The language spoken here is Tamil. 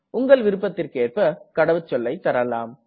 உங்கள் விருப்பத்திற்கேற்ப கடவுச்சொல்லை தரலாம்